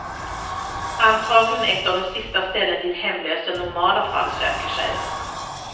Antagligen ett av de sista ställen dit hemlösa i normala fall söker sig.